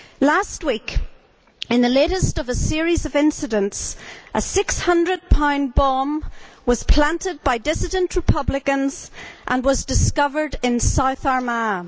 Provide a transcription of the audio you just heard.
Last week, in the latest of a series of incidents, a 600 lb bomb was planted by dissident republicans and was discovered in South Armagh.